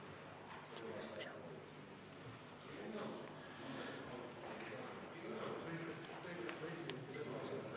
V a h e a e g Istungi lõpp kell 13.57.